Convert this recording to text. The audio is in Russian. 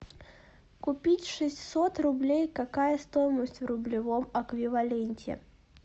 купить шестьсот рублей какая стоимость в рублевом эквиваленте